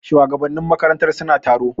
Shugabannin makarantar suna taro.